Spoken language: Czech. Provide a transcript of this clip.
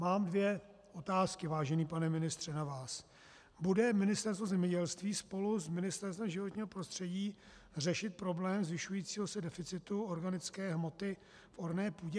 Mám dvě otázky, vážený pane ministře, na vás: Bude Ministerstvo zemědělství spolu s Ministerstvem životního prostředí řešit problém zvyšujícího se deficitu organické hmoty v orné půdě?